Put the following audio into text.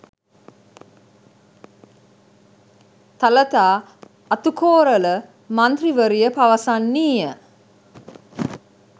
තලතා අතුකෝරල මන්ත්‍රීවරිය පවසන්නීය